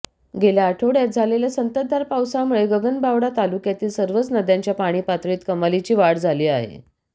गेल्या आठवडय़ात झालेल्या संततधार पावसामुळे गगनबावडा तालुक्यातील सर्वच नद्यांच्या पाणी पातळीत कमालीची वाढ झाली आहे